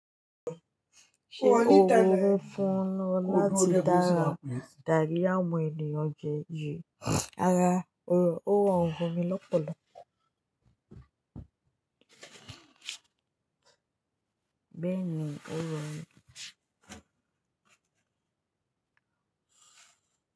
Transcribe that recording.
Ṣé ó wù ú fún ọ láti dára dári àwọn ènìyàn jẹ yí? Rárá, ó rorun fun mí lọ́pọ̀lọ̀. Bẹ́ẹ̀ ni ó rorun.